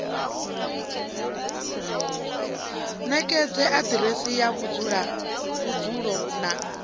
ṋekedze aḓiresi ya vhudzulo na